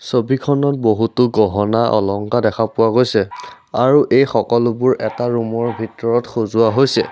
ছবিখনত বহুতো গহনা অলংকাৰ দেখা পোৱা গৈছে আৰু এই সকলোবোৰ এটা ৰুম ৰ ভিতৰত সজোৱা হৈছে।